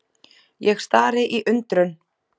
Ég stari í undrun.